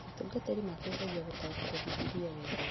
Atungatĩri mateithagia gũtaũkĩrwo Bibilia wega